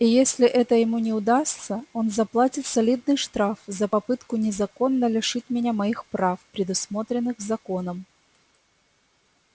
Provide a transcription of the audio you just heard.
и если это ему не удастся он заплатит солидный штраф за попытку незаконно лишить меня моих прав предусмотренных законом